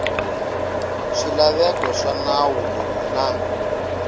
swilaveko swa nawu lowu na